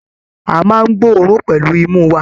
A máa n gboorun pẹlú imú wà.